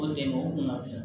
O den o kun ka fisa